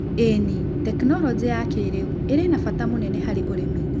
ĩni, tekinoronjĩ ya kĩrũ irĩ na bata mũnene harĩ ũrĩmi.